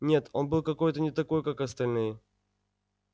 нет он был какой-то не такой как остальные